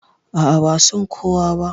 A'a, ba san kowa ba.